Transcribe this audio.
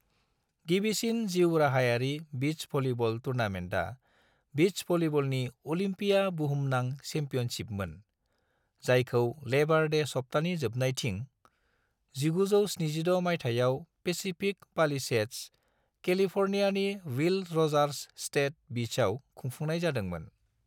गिबिसिन जिउ-राहायारि beach volleyball टुर्नामेन्टआ बीच भलीबलनि अलिम्पिया बुहुमनां चेम्पियनशिपमोन, जायखौ लेबार डे सप्तानि जोबनायथिं, 1976 मायथाइयाव पेसिफिक पालिसेड्स, केलिफ'र्नियानि विल र'जार्स स्टेट बीचआव खुंफुंनाय जादोंमोन।